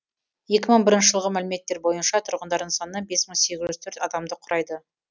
екі мың бірінші жылғы мәліметтер бойынша тұрғындарының саны бес мың сегіз жүз төрт адамды құрайды